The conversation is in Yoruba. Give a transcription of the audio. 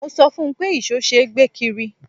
Mo sọ fún un pé ìṣó ṣe é gbé kiri.